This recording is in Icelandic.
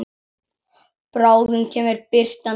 Bráðum kemur birtan hlý.